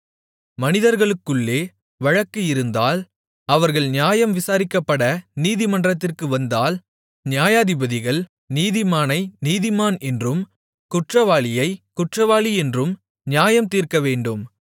மனிதர்களுக்குள்ளே வழக்கு இருந்தால் அவர்கள் நியாயம் விசாரிக்கப்பட நீதிமன்றத்திற்கு வந்தால் நியாயாதிபதிகள் நீதிமானை நீதிமான் என்றும் குற்றவாளியைக் குற்றவாளி என்றும் நியாயம் தீர்க்கவேண்டும்